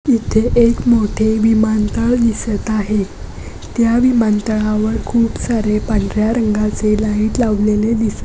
येथे एक विमानतळ उभा आहे. त्या विमानतळावर दोन विमान आहे. विमान पांढर्‍या रंगाचे दिसत आहे. विमानतळावर पत्रा लावलेला आहे.